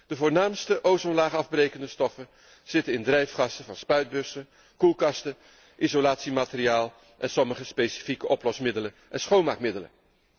De voornaamste ozonlaagafbrekende stoffen zitten in drijfgassen van spuitbussen, koelkasten, isolatiemateriaal en sommige specifieke oplosmiddelen en schoonmaakmiddelen.